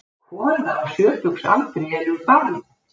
Kona á sjötugsaldri elur barn